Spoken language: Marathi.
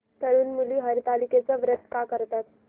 तरुण मुली हरतालिकेचं व्रत का करतात